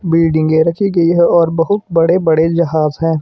बिल्डिंगे रखी गई है और बहुत बड़े बड़े जहाज हैं।